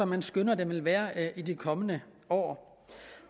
man skønner den vil være i de kommende år